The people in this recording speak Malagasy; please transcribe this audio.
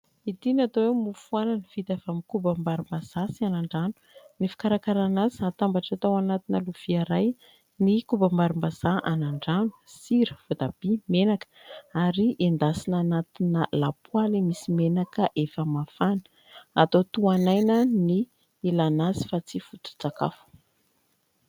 Ity no atao eo mofo anana vita avy amin'ny koba-barim-bazaha sy anandrano. Ny fikarakarana azy hatambatra tao anatina lovia iray ny koba-barim-bazaha anandrano sira votabia menaka ary endasina anatina lapoaly misy menaka efa mafana. Atao toan'aina ny ilana azy fa tsy foto-tsakafo.